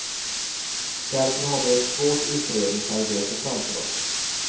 Därför har vi ett svårt utredningsarbete framför oss.